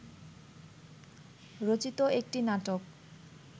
রচিত একটি নাটক